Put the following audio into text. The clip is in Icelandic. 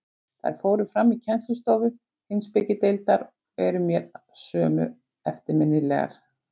Þær fóru fram í kennslustofu Heimspekideildar og eru mér að sönnu eftirminnilegar.